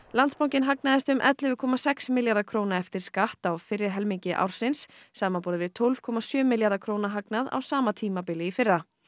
Landsbankinn hagnaðist um ellefu komma sex milljarða króna eftir skatt á fyrri helmingi ársins samanborið við tólf komma sjö milljarða króna hagnað á sama tímabili í fyrra